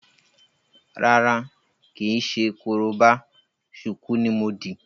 Rárá, kìí ṣe korobá, ṣùkú ní mo dì.